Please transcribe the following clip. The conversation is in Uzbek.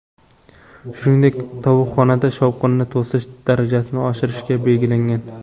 Shuningdek, tovuqxonada shovqinni to‘sish darajasini oshirish belgilangan.